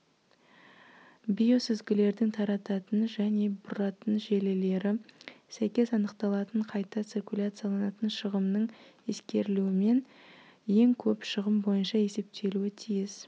биосүзгілердің тарататын және бұратын желілері сәйкес анықталатын қайта циркуляцияланатын шығымның ескерілуімен ең көп шығым бойынша есептелуі тиіс